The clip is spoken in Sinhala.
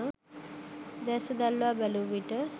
දෑස දල්වා බැලූ විට